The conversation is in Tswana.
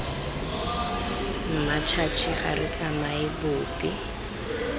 mmatšhatšhi ga re tsamaye bobe